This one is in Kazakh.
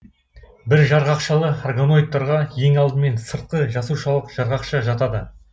бір жарғақшалы органоидтарға ең алдымен сыртқы жасушалық жарғақша жатады